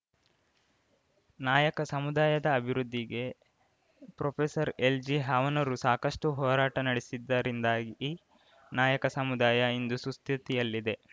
ನಾಯಕ ಸಮುದಾಯದ ಅಭಿವೃದ್ಧಿಗೆ ಪ್ರೊಫೆಸರ್ಎಲ್‌ಜಿಹಾವನೂರು ಸಾಕಷ್ಟುಹೋರಾಟ ನಡೆಸಿದ್ದರಿಂದಾಗಿ ನಾಯಕ ಸಮುದಾಯ ಇಂದು ಸುಸ್ಥಿತಿಯಲ್ಲಿದೆ